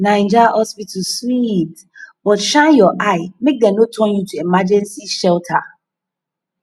naija hospital sweet but shine your eye make dem no turn you to emergency shelter